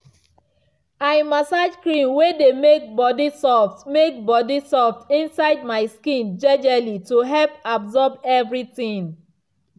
i massage cream way dey make body soft make body soft inside my skin jejely to help absorb everything.